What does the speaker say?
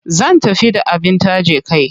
Zan tafi da abin taje kai.